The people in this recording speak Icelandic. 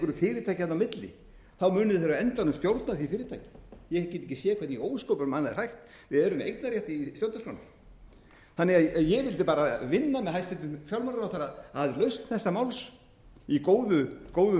fyrirtæki þarna á milli munu þeir á endanum stjórna því fyrirtæki ég get ekki séð hvernig í ósköpunum annað er hægt við erum með eignarrétt í stjórnarskránni þannig að ég vildi bara vinna með hæstvirtum fjármálaráðherra að lausn þessa máls í góðum